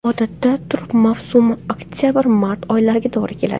Odatda, turp mavsumi oktabr-mart oylariga to‘g‘ri keladi.